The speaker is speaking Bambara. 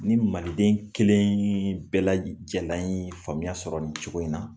Ni maliden kelen bɛ lajalan ye faamuya sɔrɔ nin cogo in na